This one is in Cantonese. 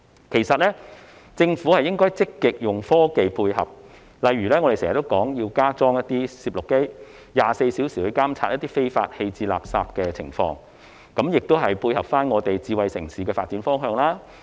其實，政府應積極利用科技配合，例如我們經常建議加裝攝錄機 ，24 小時監察非法棄置垃圾的情況，這亦可配合"智慧城市"的發展方向。